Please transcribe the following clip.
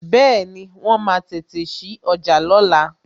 Bẹẹni, wọn máa tètè sí ọjà lóla